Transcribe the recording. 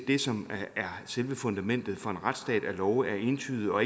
det som er selve fundamentet for en retsstat altså at love er entydige og